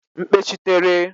mkpechitere